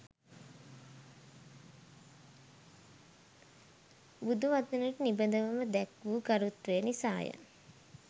බුදු වදනට නිබඳවම දැක් වූ ගරුත්වය නිසාය